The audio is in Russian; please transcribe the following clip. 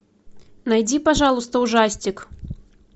найди пожалуйста ужастик